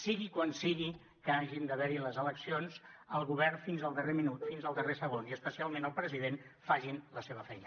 sigui quan sigui que hagin d’haver hi les eleccions el govern fins al darrer minut fins al darrer segon i especialment el president facin la seva feina